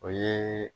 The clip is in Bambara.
O ye